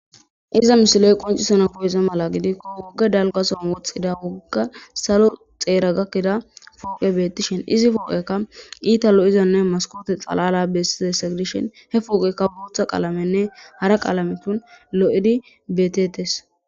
Iza misiley qoncisana koyeze mala gidikko wogga dalkason woxxida wogga salo xeera gakkida fooqe bettishin izi fooqekka iita lo'izanne maskote xalala bessizessa gdishin hepooqeka buotha qalamenne hara qalame lo'edi betetes.